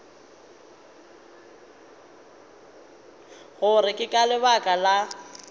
gore ke ka lebaka la